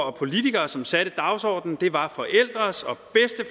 og politikere som satte dagsordenen det var